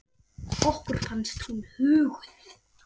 Okkur fannst hún huguð.